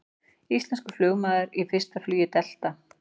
Íslenskur flugmaður í fyrsta flugi Delta